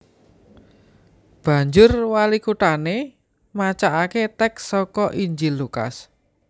Banjur walikuthané macakaké tèks saka Injil Lukas